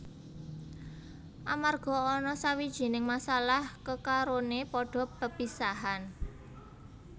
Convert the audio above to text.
Amarga ana sawijining masalah kekarone padha pepisahan